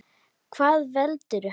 Hvað veldur?